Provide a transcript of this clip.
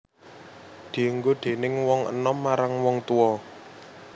Dienggo déning wong enom marang wong tuwa